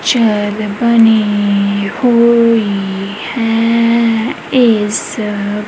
chair ਬਣੀ ਹੋਈ ਹੈ ਇੱਸ--